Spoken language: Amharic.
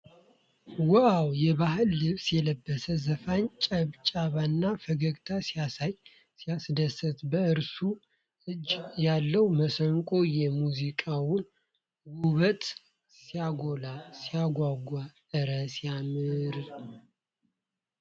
ዋው ! የባህል ልብስ የለበሰ ዘፋኝ ጭብጨባና ፈገግታ ሲያሳይ ሲያስደስት! በእርሱ እጅ ያለው መሰንቆ የሙዚቃውን ውበት ሲያጎላ ሲያጓጓ! እረ ሲያስገርም!